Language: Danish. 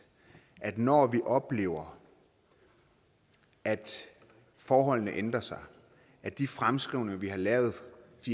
at når vi oplever at forholdene ændrer sig at de fremskrivninger vi har lavet